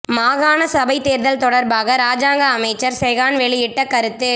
மாகாண சபைத் தேர்தல் தொடர்பாக இராஜாங்க அமைச்சர் செஹான் வெளியிட்ட கருத்து